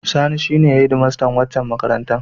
Sani shi en hedmastan waccan makarantar.